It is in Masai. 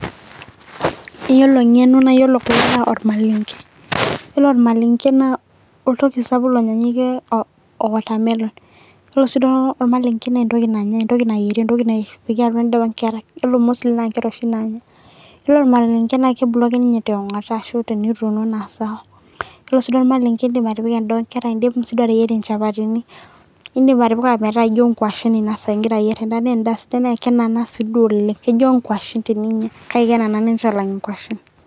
iyiolo eng'eno naa iyiolo kulo naa olmalenke, iyiolo olmalenke naa oltoki sapuk lonyaanyukie o watermelon iyiolo sii olmalenke naa entoki nanyae, entoki nayieri, edaa oonkera .ore mostly naa nkera oshi naanya, iyiolo olmalenke naa kebuluu ake ninyye tiong'ota ,ashu tenituuno naa sawa, iyiolo sii olmalenke idim siiduo atipika edaa oonkera, idim siiduo atipika olmalenke, idim siiduoa ateyerie inchapatini, idim atipika metaa ijo nkwashen inasaa igira ayier edaa, naa edaa sidai, naa kenana siduo oleng, ijo nkwashen, kake kenana ninche aalang inkwashen.